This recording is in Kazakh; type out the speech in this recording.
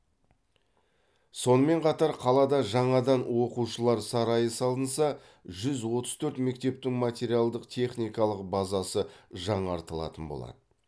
сонымен қатар қалада жаңадан оқушылар сарайы салынса жүз отыз торт мектептің материалдық техникалық базасы жаңартылатын болады